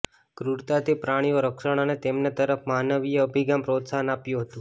ક્રૂરતા થી પ્રાણીઓ રક્ષણ અને તેમને તરફ માનવીય અભિગમ પ્રોત્સાહન આપ્યું હતું